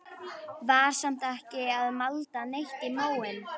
Var samt ekki að malda neitt í móinn.